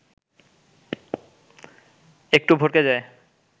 একটু ভড়কে যায়